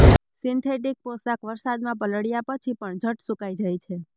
synthetic પોશાક વરસાદમાં પલળ્યા પછી પણ ઝટ સુકાઇ જાય છે